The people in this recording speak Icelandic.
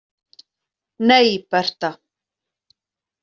Nei, Bertha.